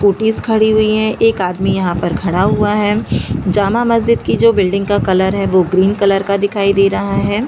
Scottish खड़ी हुई है एक आदमी यहाँ पर खड़ा हुआ है जामा मस्जिद की जो बिल्डिंग का कलर है वो ग्रीन कलर का दिखाई दे रहा है।